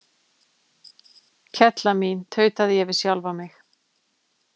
Kella mín, tautaði ég við sjálfa mig.